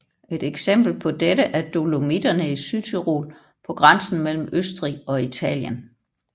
Et eksempel på dette er Dolomitterne i Sydtyrol på grænsen mellem Østrig og Italien